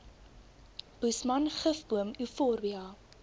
boesman gifboom euphorbia